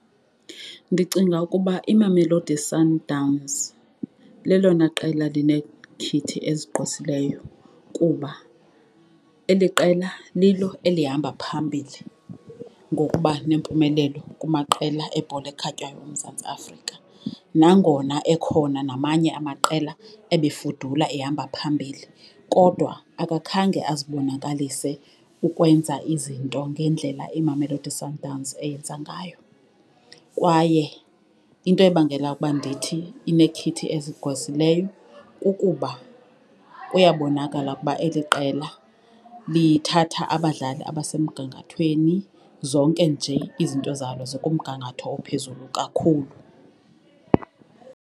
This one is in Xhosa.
Ndicinga ukuba iMamelodi Sundowns lelona qela linekhithi ezigqwesileyo kuba eli qela lilo elihamba phambili ngokuba nempumelelo kumaqela ebhola ekhatywayo eMzantsi Afrika. Nangona ekhona namanye amaqela ebefudula ehamba phambili kodwa akakhange azibonakalise ukwenza izinto ngendlela iMamelodi Sundowns eyenza ngayo. Kwaye into ebangela ukuba ndithi inekhithi ezigqwesileyo kukuba kuyabonakala ukuba eli qela lithatha abadlali abasemgangathweni, zonke nje izinto zalo zikumgangatho ophezulu kakhulu.